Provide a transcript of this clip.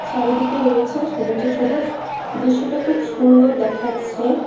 চারিদিকে রয়েছে সবুজে সবুজ দৃশ্যটি খুব সুন্দর দেখাচ্ছে।